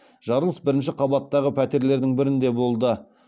жарылыс бірінші қабаттағы пәтерлердің бірінде болды